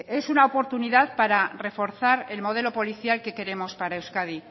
momentu bat es una oportunidad para reforzar el modelo policial que queremos para euskadi